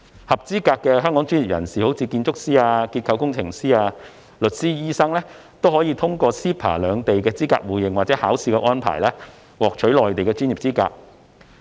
合資格的香港專業人士，例如建築師、結構工程師、律師、醫生，可以通過 CEPA 兩地資格互認或考試的安排，獲取內地的專業資格。